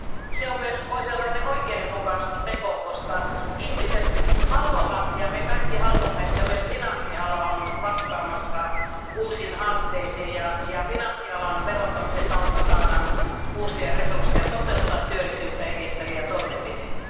se on myös oikeudenmukaisuusteko, koska ihmiset haluavat ja me kaikki haluamme että myös finanssiala on vastaamassa uusiin haasteisiin ja finanssialan verottamisen kautta saadaan uusia resursseja toteuttaa työllisyyttä edistäviä toimenpiteitä.